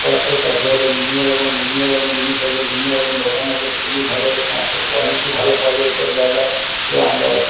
প্রত্যেকটা ফ্লোর এ বিভিন্ন রকম বিভিন্ন রকম জিনিস আছে বিভিন্ন রকম দোকান আছে খুবই ভালো এসমস্ত কোয়ালিটি ভালো পাওয়া যায় এইসব জায়য়গায় আমরাও ।